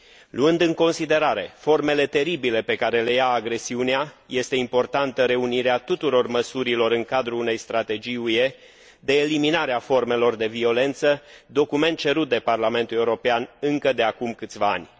Luând în considerare formele teribile pe care le ia agresiunea, este importantă reunirea tuturor măsurilor în cadrul unei strategii UE de eliminare a formelor de violență, document cerut de Parlamentul European încă de acum câțiva ani.